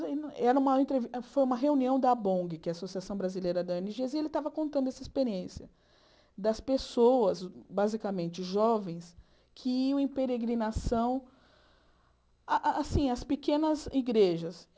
Era uma entrevi foi uma reunião da Abong, que é a Associação Brasileira da, e ele estava contando essa experiência das pessoas, basicamente jovens, que iam em peregrinação ah assim às pequenas igrejas.